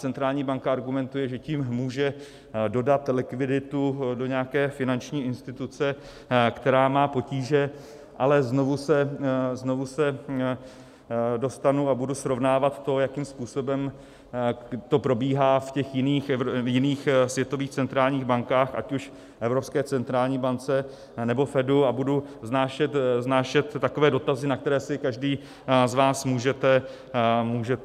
Centrální banka argumentuje, že tím může dodat likviditu do nějaké finanční instituce, která má potíže, ale znovu se dostanu a budu srovnávat to, jakým způsobem to probíhá v těch jiných světových centrálních bankách, ať už Evropské centrální bance, nebo Fedu, a budu vznášet takové dotazy, na které si každý z vás můžete odpovídat.